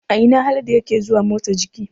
A ina Haladu yake zuwa motsa jiki?